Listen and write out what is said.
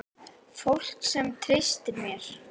Fólk sem treysti mér.